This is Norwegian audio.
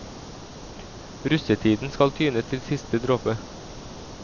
Russetiden skal tynes til siste dråpe.